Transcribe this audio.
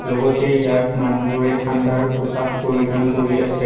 লগতে ইয়াত মানুহবোৰে ঠাণ্ডাৰ পোছাক পৰিধান কৰি আছে।